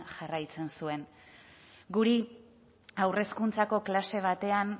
jarraitzen zuen guri haur hezkuntzako klase batean